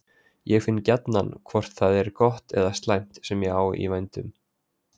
En ég finn gjarnan hvort það er gott eða slæmt sem ég á í vændum.